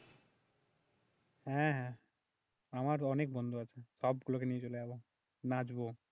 হ্যাঁ হ্যাঁ, আমার অনেক বন্ধু আছে সবগুলোকে নিয়ে চলে যাব, নাচব